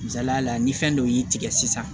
Misaliya la ni fɛn dɔ y'i tigɛ sisan